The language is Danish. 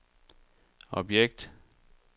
objekt